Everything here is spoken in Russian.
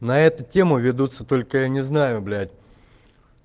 на эту тему ведутся только я не знаю блять